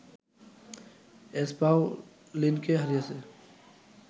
এসপাওনিলকে হারিয়েছে